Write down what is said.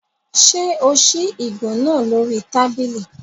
Ṣé o ṣí ìgò náà lórí tábìlì?